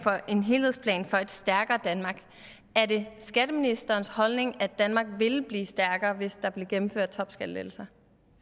helhedsplan for et stærkere danmark er det skatteministerens holdning at danmark ville blive stærkere hvis der blev gennemført topskattelettelser